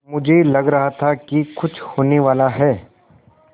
मुझे लग रहा था कि कुछ होनेवाला है